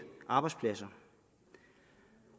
arbejdspladser